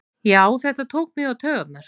Já þetta tók mjög á taugarnar